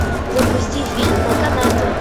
запусти фильм на канате